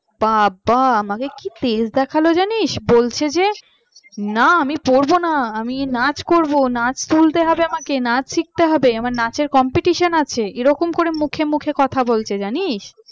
বাবা আমাকে কি তেজ দেখালো জানিস বলছে যে না আমি পড়বো না আমি নাচ করব নাচ তুলতে হবে আমাকে নাচ শিখতে হবে আমার নাচের competition আছে। এরকম করে মুখে মুখে কথা বলছে জানিস